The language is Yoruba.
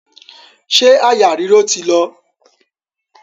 Ṣé àyà ríro ti lọ?